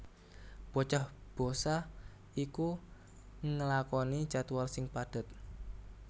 Bocah bosah iku nglakoni jadwal sing padhet